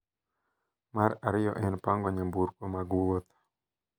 Mar ariyo en pango nyamburko mag wuoth.